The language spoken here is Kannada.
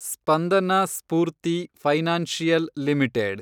Spandana Spoorthi Financial limited